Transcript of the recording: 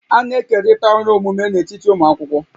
A na-ekerịta ọrụ omume n'etiti ụmụ akwụkwọ